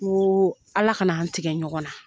Ko Ala kana an tigɛ ɲɔgɔn na.